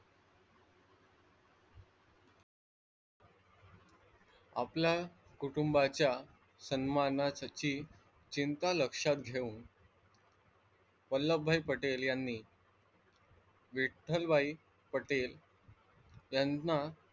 आपला कुटुंबाच्या सन्मानासाठी चिंता लक्षात घेऊन वल्लभभाई पटेल यांनी विठ्लभाई पटेल याना,